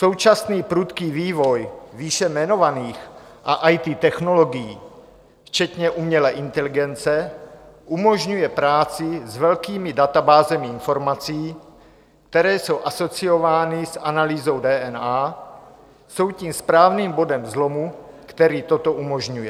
Současný prudký vývoj výše jmenovaných a IT technologií včetně umělé inteligence umožňuje práci s velkými databázemi informací, které jsou asociovány s analýzou DNA, jsou tím správným bodem zlomu, který toto umožňuje.